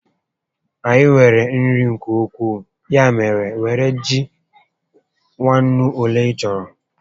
Anyị nwere nri nke ukwuu, ya mèrè, were ji nwa ńnú ólé ị chọrọ